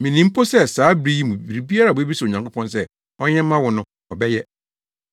Minim mpo sɛ saa bere yi mu biribiara a wubebisa Onyankopɔn sɛ ɔnyɛ mma wo no ɔbɛyɛ.”